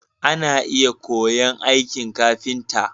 Ana iya koya'n aikin ƙafinta.